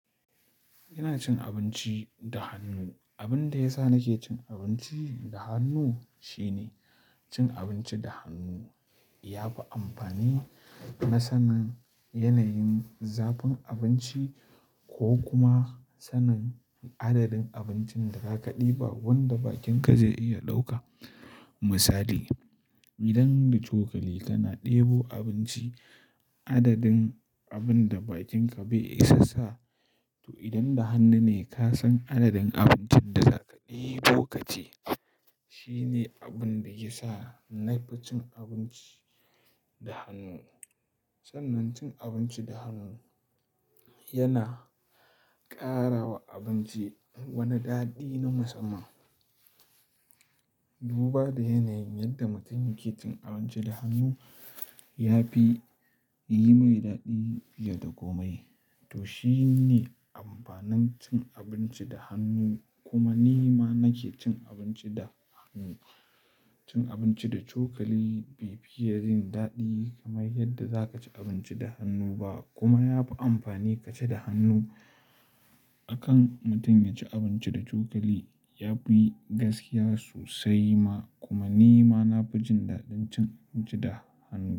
Ina cin abinci da hannu. Abin da yasa nake cin abinci da hannu shine cin abinci da hannu yafi amfani na sanin yanayin zafin abinci ko kuma sanin adadin abincin da za ka ɗiba wanda bakinka zai iya ɗauka. Misali, idan da cokali kana ɗebo abinci adadin abin da bakinka bai isa sa to idan da hannu ne ka san adadin abincin da za ka ɗibo ka ci. Shine abin da ke sa ni fi cin abinci da hannu. Sannan cin abinci da hannu yana karawa abinci wani daɗi na musamman. Duba da yanayin yadda mutum yake cin abinci da hannu yafi yi mai daɗi fiye da komai to shine amfanin cin abinci da hannu. Kuma ni ma nake cin abinci da hannu. Cin abinci da cokali bai fi yajin daɗi kamar yadda za ka ci abinci da hannu ba kuma yafi amfani ka ci da hannu. Akan mutum ya ci abinci da cokali yafi gaskiya sosai ma kuma ni ma na fi jin daɗin cin abinci da hannu.